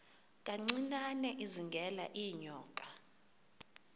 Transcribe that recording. kancinane izingela iinyoka